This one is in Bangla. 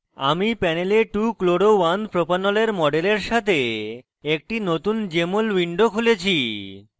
আমি panel 2chloro1propanol এর model সাথে একটি নতুন jmol window খুলেছি